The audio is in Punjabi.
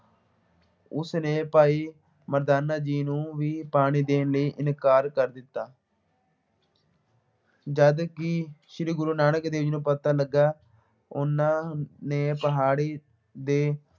ਉਸਨੇ ਭਾਈ ਮਰਦਾਨਾ ਜੀ ਨੂੰ ਵੀ ਪਾਣੀ ਦੇਣ ਲਈ ਇਨਕਾਰ ਕਰ ਦਿੱਤਾ। ਜਦਕਿ ਸ਼੍ਰੀ ਗੁਰੂ ਨਾਨਕ ਦੇਵ ਜੀ ਨੂੰ ਪਤਾ ਲੱਗਾ, ਉਹਨਾ ਨੇ ਪਹਾੜੀ ਦੇ